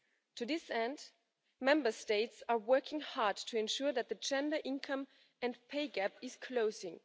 To this end, Member States are working hard to ensure that the gender income and pay gap is closing.